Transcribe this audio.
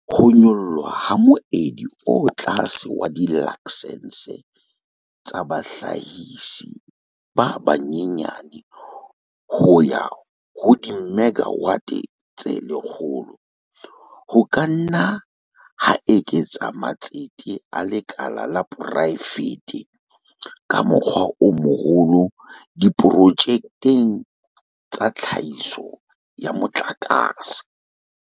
Ho nyollwa ha moedi o tlase wa dilaksense tsa bahlahisi ba banyenyane ho ya ho dimegawate tse 100 ho ka nna ha eketsa matsete a lekala la poraefete ka mokgwa o moholo diprojekteng tsa tlhahiso ya motlakase.